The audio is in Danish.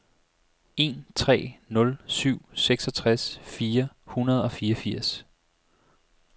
en tre nul syv seksogtres fire hundrede og fireogfirs